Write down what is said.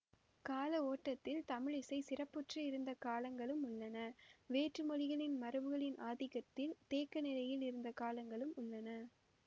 கால ஓட்டத்தில் தமிழிசை சிறப்புற்று இருந்த காலங்களும் உள்ளன வேற்று மொழிகளின் மரபுகளின் ஆதிக்கத்தில் தேக்க நிலையில் இருந்த காலங்களும் உள்ளன